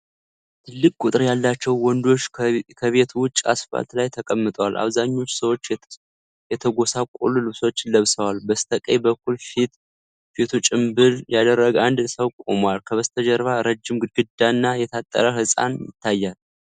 ትልቅ ቁጥር ያላቸው ወንዶች ከቤት ውጭ አስፋልት ላይ ተቀምጠዋል። አብዛኞቹ ሰዎች የተጎሳቆሉ ልብሶችን ለብሰዋል። በስተቀኝ በኩል ፊቱ ጭምብል ያደረገ አንድ ሰው ቆሟል። ከበስተጀርባ ረጅም ግድግዳና የታጠረ ህንጻ ይታያል።